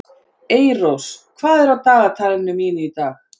Eyrós, hvað er á dagatalinu mínu í dag?